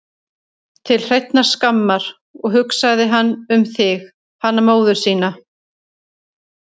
Til hreinnar skammar, og hugsaði hann um þig, hana móður sína?